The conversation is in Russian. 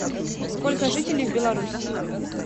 сколько жителей в белоруссии